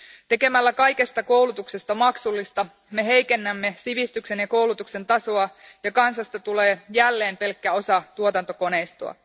Tekemällä kaikesta koulutuksesta maksullista me heikennämme sivistyksen ja koulutuksen tasoa ja kansasta tulee jälleen pelkkä osa tuotantokoneistoa.